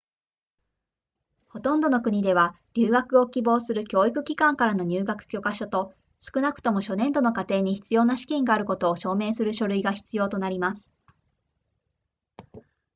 ほとんどの国では留学を希望する教育機関からの入学許可書と少なくとも初年度の課程に必要な資金があることを証明する書類が必要となります